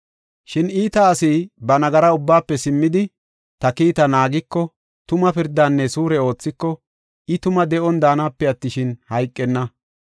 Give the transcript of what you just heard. Shin iita asi ba nagara ubbaafe simmidi, ta kiita naagiko tuma pirdaanne suure oothiko, I tuma de7on daanape attishin, hayqenna.